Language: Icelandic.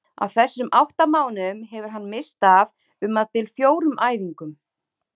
Á þessum átta mánuðum hefur hann misst af um það bil fjórum æfingum.